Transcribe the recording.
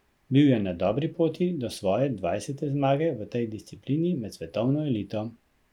Bil je na dobri poti do svoje dvajsete zmage v tej disciplini med svetovno elito.